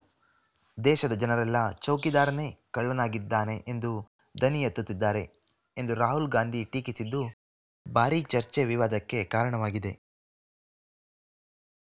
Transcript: ದೇಶದ ಜನರೆಲ್ಲಾ ಚೌಕಿದಾರನೇ ಕಳ್ಳನಾಗಿದ್ದಾನೆ ಎಂದು ದನಿ ಎತ್ತುತ್ತಿದ್ದಾರೆ ಎಂದು ರಾಹುಲ್‌ ಗಾಂಧಿ ಟೀಕಿಸಿದ್ದು ಭಾರೀ ಚರ್ಚೆವಿವಾದಕ್ಕೆ ಕಾರಣವಾಗಿದೆ